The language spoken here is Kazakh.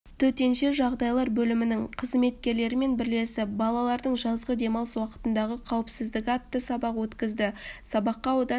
төтенше жағдайлар бөлімінің қызметкерлерімен бірлесіп балалардың жазғы демалыс уақытындағы қауіпсіздігі атты сабақ өткізді сабаққа аудан